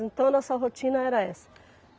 Então, nossa rotina era essa.